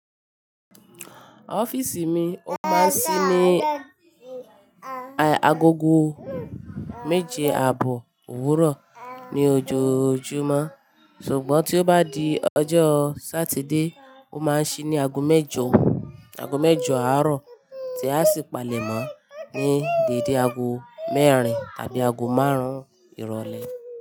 Ọfiisi mi ó máa n sí ní agogo méje àbò òwúrọ̀ ní ojoojúmọ́ ṣùgbọ́n tí ó bá di ọjọ́ Saturday ó máa n sí ní ago mẹ́jọ àárọ̀ tí a sì palẹ̀ mó ní dédé ago mérin tàbí ago márùn-ún ìrọ̀lẹ́